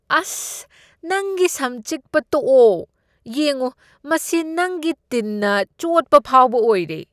ꯑꯁ! ꯅꯪꯒꯤ ꯁꯝ ꯆꯤꯛꯄ ꯇꯣꯛꯑꯣ꯫ ꯌꯦꯡꯎ, ꯃꯁꯤ ꯅꯪꯒꯤ ꯇꯤꯟꯅ ꯆꯣꯠꯄ ꯐꯥꯎꯕ ꯑꯣꯏꯔꯦ꯫